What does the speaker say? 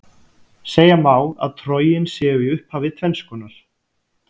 Segja má að trogin séu í upphafi tvennskonar.